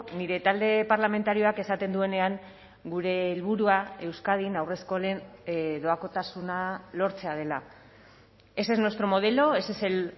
nire talde parlamentarioak esaten duenean gure helburua euskadin haurreskolen doakotasuna lortzea dela ese es nuestro modelo ese es el